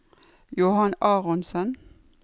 Johan Aronsen